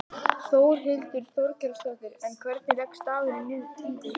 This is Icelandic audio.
Þórhildur Þorkelsdóttir: En hvernig leggst dagurinn í þig?